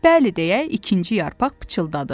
Bəli deyə ikinci yarpaq pıçıldadı.